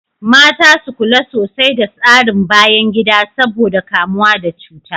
Mata su kula sosai da tsarin bayan gida saboda kamuwa da cuta.